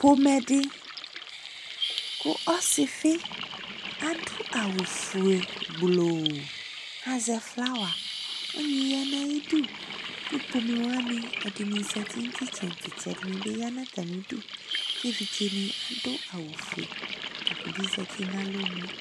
fomɛdi ku ɔsifi adu awu fué gblooo ka zɛ flawă ɔnyi ya na yi du ku pomɛ wani ɛdini zɛti ni itsɛdi ɛdini bi ya na atami du ké évidzé ni adu awu fué tani bi zɛti na alɔ nué